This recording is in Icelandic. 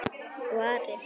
Og Ari?